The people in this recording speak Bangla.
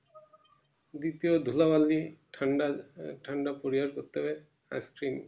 দ্বিতীয় ধুলাবালি ঠান্ডা আহ ঠান্ডা পরিহার করতে হবে actually